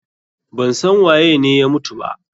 Ban san waye ne ya mutu ba.